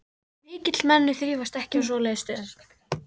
Mikilmenni þrífast ekki á svoleiðis stöðum.